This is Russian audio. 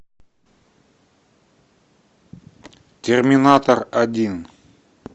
терминатор один